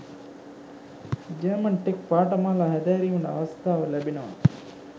German tech පාඨමාලා හැදෑරීමට අවස්ථාව ලැබෙනවා